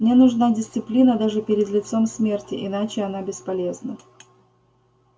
мне нужна дисциплина даже перед лицом смерти иначе она бесполезна